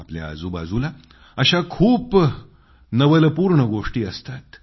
आपल्या आजूबाजूला अशा खूप साया नवलपूर्ण गोष्टी असतात